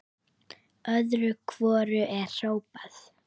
Öðru hvoru er hrópað.